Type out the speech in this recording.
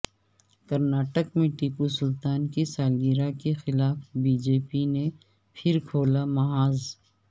کرناٹک میں ٹیپو سلطان کی سالگرہ کے خلاف بی جے پی نے پھر کھولا محاذ